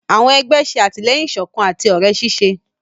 Àwọn egbé ṣe atilẹyin ìsọkan àti òré ṣiṣẹ.